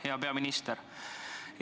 Hea peaminister!